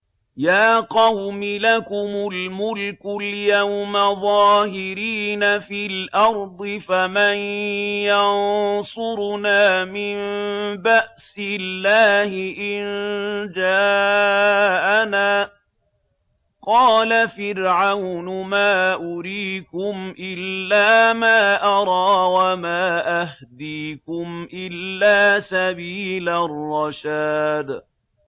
يَا قَوْمِ لَكُمُ الْمُلْكُ الْيَوْمَ ظَاهِرِينَ فِي الْأَرْضِ فَمَن يَنصُرُنَا مِن بَأْسِ اللَّهِ إِن جَاءَنَا ۚ قَالَ فِرْعَوْنُ مَا أُرِيكُمْ إِلَّا مَا أَرَىٰ وَمَا أَهْدِيكُمْ إِلَّا سَبِيلَ الرَّشَادِ